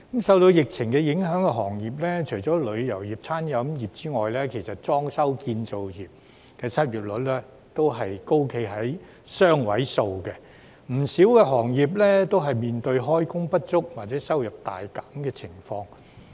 受疫情影響的行業，除旅遊業及餐飲服務業外，其實裝修、建造業的失業率亦高企於雙位數，不少行業面對開工不足或收入大減的情況。